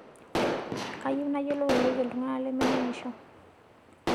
Kayieu nayiolou airorie ltungana lemeningisho